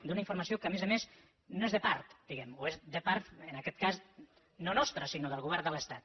d’una informació que a més a més no és de part diguem ne o és de part en aquest cas no nostre sinó del govern de l’estat